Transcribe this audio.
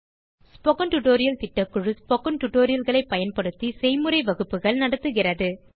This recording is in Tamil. ஸ்போக்கன் டியூட்டோரியல் திட்டக்குழு ஸ்போக்கன் டியூட்டோரியல் களை பயன்படுத்தி செய்முறை வகுப்புகள் நடத்துகிறது